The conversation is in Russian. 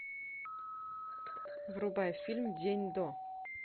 врубай фильм день до